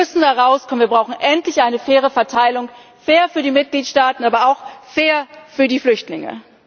tot. Wir müssen herauskommen, wir brauchen endlich eine faire Verteilung fair für die Mitgliedstaaten, aber auch fair für die Flüchtlinge.